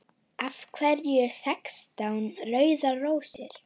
Þið munuð bíða ósigur.